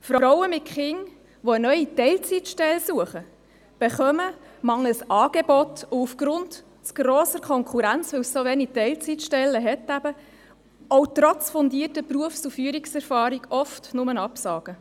Frauen mit Kindern, die eine neue Teilzeitstelle suchen, erhalten mangels Angeboten und aufgrund von zu grosser Konkurrenz – eben weil es zu wenige Teilzeitstellen gibt – trotz fundierter Berufs- und Führungserfahrung oft nur Absagen.